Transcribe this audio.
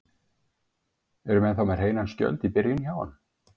Eru menn þá með hreinan skjöld í byrjun hjá honum?